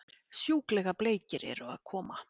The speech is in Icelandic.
Sjúklega bleikir eru að koma!